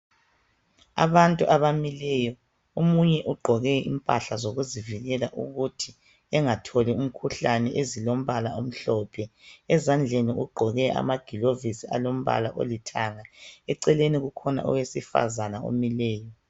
Abantu abamileyo, omunye ugqoke impahla zokuzivikela ukuthi engatholi umkhuhlane ezilombala omhlophe, ezandleni ugqoke amagilovisi alombala olithanga. Eceleni kulowesifazana omileyo